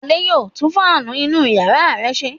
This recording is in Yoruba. Adé yóò tún fáánù inú ìyàrá rẹ̀ ṣe.